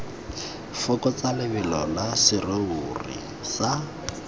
fokotsa lebelo la serori sa